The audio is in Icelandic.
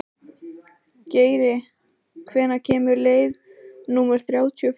Geiri, hvenær kemur leið númer þrjátíu og fjögur?